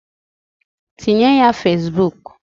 Tinye ya Fesbuk.